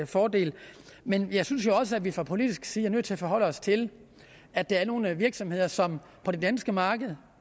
fordel men jeg synes jo også at vi fra politisk side er nødt til at forholde os til at der er nogle virksomheder som på det danske marked